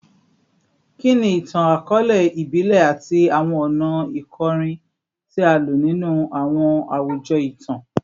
Kini itan-akọọlẹ ibile ati awọn ọna ikorin ti a lo ninu awọn awujọ itan?